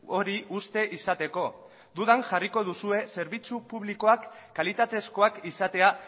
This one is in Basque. hori uste izateko dudan jarriko duzue zerbitzu publikoak kalitatezkoak izatea